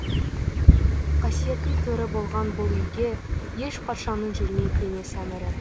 қасиеттің төрі болған бұл үйге еш патшаның жүрмек емес әмірі